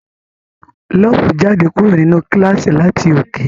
Love jáde kúrò nínú kílàsì láti òkè.